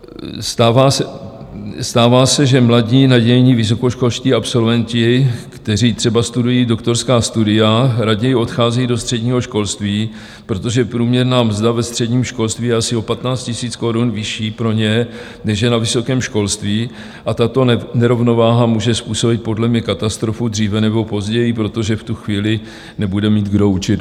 Stává se, že mladí nadějní vysokoškolští absolventi, kteří třeba studují doktorská studia, raději odcházejí do středního školství, protože průměrná mzda ve středním školství je asi o 15 000 korun vyšší pro ně, než je na vysokém školství, a tato nerovnováha může způsobit podle mě katastrofu dříve nebo později, protože v tu chvíli nebude mít kdo učit."